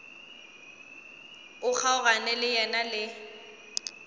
o kgaogana le yena le